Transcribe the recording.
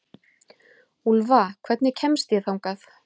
Úlfa, hvernig kemst ég þangað?